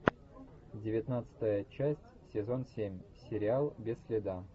девятнадцатая часть сезон семь сериал без следа